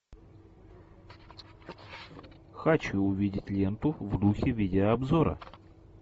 хочу увидеть ленту в духе видеообзора